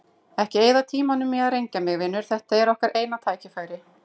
Ekki eyða tímanum í að rengja mig, vinur, þetta er okkar eina tækifærið.